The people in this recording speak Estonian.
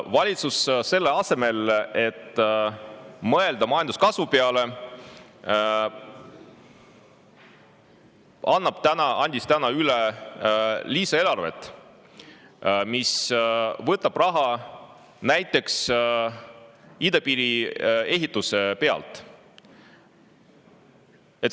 Valitsus selle asemel, et mõelda majanduskasvu peale, andis täna üle lisaeelarve, mis võtab raha näiteks idapiiri ehituselt.